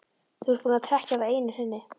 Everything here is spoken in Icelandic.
Þú ert búinn að trekkja það einu sinni.